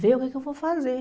ver o que que eu vou fazer.